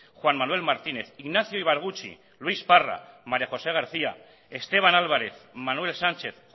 juan manuel martínez ignacio ibarguchi luis parra maria josé garcía esteban álvarez manuel sánchez